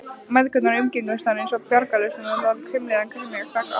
Mæðgurnar umgengust hann einsog bjargarlausan og dálítið hvimleiðan kenjakrakka.